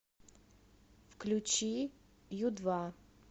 включи ю два